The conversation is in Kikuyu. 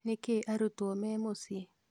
Nĩkĩĩ arutwo mĩ mũciĩ